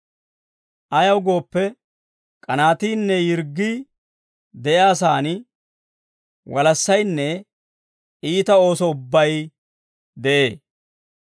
Ayaw gooppe, k'anaatiinne yirggii de'iyaa saan walassaynne iita ooso ubbay de'ee.